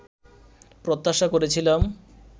প্রত্যাশা করেছিলাম